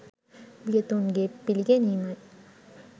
වියතුන්ගේ පිළිගැනීමයි.